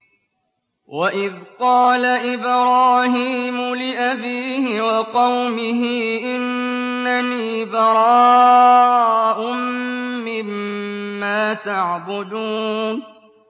وَإِذْ قَالَ إِبْرَاهِيمُ لِأَبِيهِ وَقَوْمِهِ إِنَّنِي بَرَاءٌ مِّمَّا تَعْبُدُونَ